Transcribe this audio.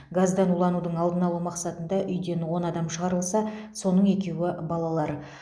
газдан уланудың алдын алу мақсатында үйден он адам шығарылса соның екеуі балалар